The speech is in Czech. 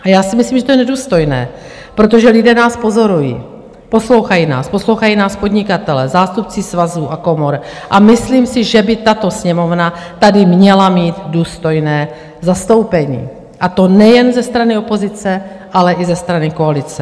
A já si myslím, že to je nedůstojné, protože lidé nás pozorují, poslouchají nás, poslouchají nás podnikatelé, zástupci svazů a komor, a myslím si, že by tato Sněmovna tady měla mít důstojné zastoupení, a to nejen ze strany opozice, ale i ze strany koalice.